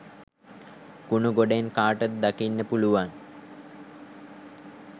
කුණු ගොඩෙන් කාටද දකින්න පුළුවන්